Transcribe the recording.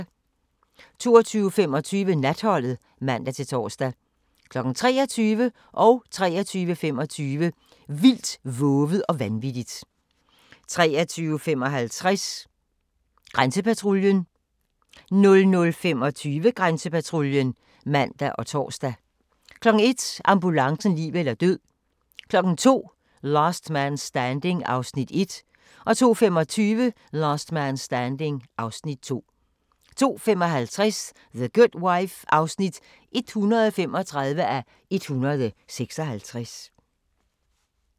22:25: Natholdet (man-tor) 23:00: Vildt, vovet og vanvittigt 23:25: Vildt, vovet og vanvittigt 23:55: Grænsepatruljen 00:25: Grænsepatruljen (man og tor) 01:00: Ambulancen - liv eller død 02:00: Last Man Standing (Afs. 1) 02:25: Last Man Standing (Afs. 2) 02:55: The Good Wife (135:156)